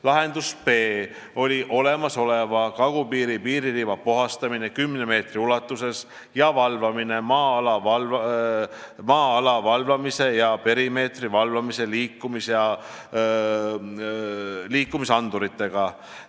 Lahendus B: olemasoleva kagupiiri piiririba puhastamine kümne meetri ulatuses ning valvamine maa-ala ja perimeetri valvamise liikumisanduritega.